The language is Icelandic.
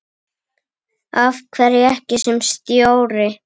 Af hverju ekki sem stjóri?